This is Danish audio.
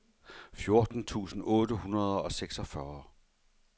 fjorten tusind otte hundrede og seksogfyrre